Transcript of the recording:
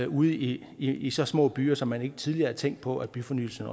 ude i i så små byer som man ikke tidligere havde tænkt på at byfornyelsen